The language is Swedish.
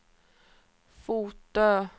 Fotö